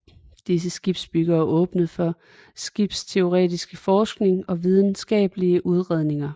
Disse skibsbyggere åbnede for skibsteoretiske forskning og videnskabelige udredninger